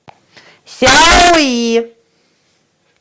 сяои